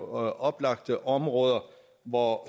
oplagte områder hvor